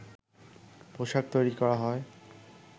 পোশাক তৈরি করা হয়